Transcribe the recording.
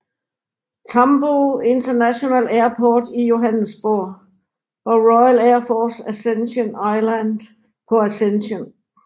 Tambo International Airport i Johannesburg og RAF Ascension Island på Ascension